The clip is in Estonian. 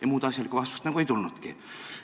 " Ja muud asjalikku vastust nagu ei tulnudki.